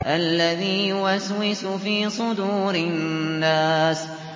الَّذِي يُوَسْوِسُ فِي صُدُورِ النَّاسِ